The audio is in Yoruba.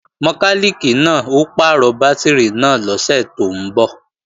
Mọkálìkì náà ó pàrọ̀ bátìrì náà lọ́sẹ̀ tó ń bọ̀